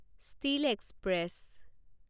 steel express